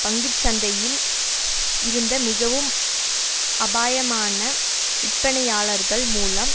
பங்கு சந்தையில் இருந்த மிகவும் அபாயமான விற்பனையாளர்கள் மூலம்